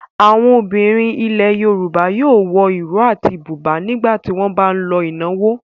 Àwọn obìnrin ilẹ̀ Yorùbá yóò wọ ìró àti bùbá nígbà tí wọ́n bá ń lọ ìnáwó.